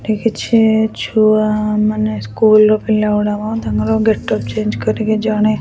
ଏଠି କିଛି ଛୁଆ ମାନେ ସ୍କୁଲ ପିଲା ଗୁଡାକ ତାଙ୍କର ଗେଟ୍ ଅପ୍ ଚେଞ୍ଚ କରିକି ଜଣେ।